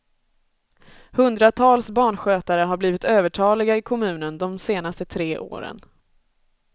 Hundratals barnskötare har blivit övertaliga i kommunen de senaste tre åren.